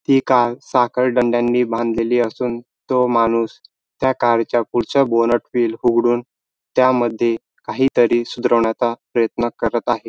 ती कार साखळदंडांनी बांधलेली असून तो माणूस त्या कार च्या पुढच्या बोनेट व्हील उघडून त्यामध्ये काही तरी सुधरवण्याचा प्रयत्न करत आहे.